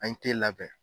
An ye labɛn